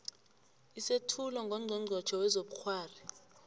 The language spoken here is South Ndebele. isethulo ngongqongqotjhe wezobukghwari